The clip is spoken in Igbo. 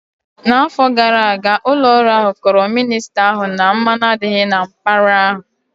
N'afọ gara aga, ụlọ ọrụ ahụ kọọrọ minista ahụ na mmanụ adịghị na mpaghara ahụ